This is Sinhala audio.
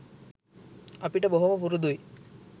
අපිට බොහොම පුරුදුයි.